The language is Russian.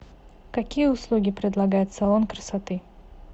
какие услуги предлагает салон красоты